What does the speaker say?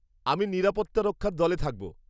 আমি নিরাপত্তা রক্ষার দলে থাকব।